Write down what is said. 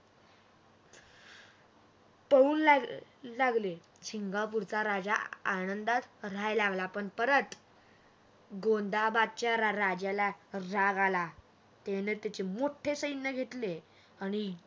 पळून लागली सिंगापूरचा राजा आनंदात रा राहायला लागला परत गोंधाबादच्या राजाला रा राग आला त्याने त्याचे मोठे सैन्य घेतले. आणि